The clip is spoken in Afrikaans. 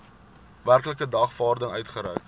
werklike dagvaarding uitgereik